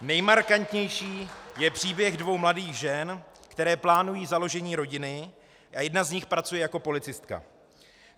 Nejmarkantnější je příběh dvou mladých žen, které plánují založení rodiny, a jedna z nich pracuje jako policistka.